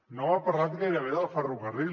no m’ha parlat gairebé del ferrocarril